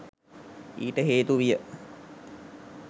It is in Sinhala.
ඊට හේතු විය.